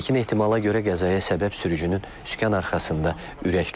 İlkin ehtimala görə qəzaya səbəb sürücünün sükan arxasında ürək tutması olub.